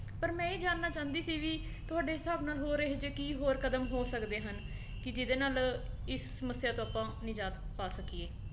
ਪਰ ਮੈਂ ਇਹ ਜਾਨਣਾ ਚਾਹੁੰਦੀ ਸੀ ਵੀ ਕੀ ਤੁਹਾਡੇ ਹਿਸਾਬ ਨਾਲ ਹੋਰ ਇਹੋ ਜੇ ਕੀ ਕਦਮ ਹੋ ਸਕਦੇ ਹਨ ਕੀ ਜੀਹਦੇ ਨਾਲ ਇਸ ਸਮੱਸਿਆਂ ਤੋਂ ਆਪਾਂ ਨਿਜਾਤ ਪਾ ਸਕੀਏ।